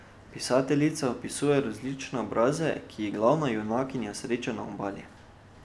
Pisateljica opisuje različne obraze, ki jih glavna junakinja sreča na obali.